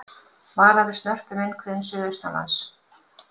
Varað við snörpum vindhviðum suðaustanlands